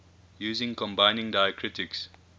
using combining diacritics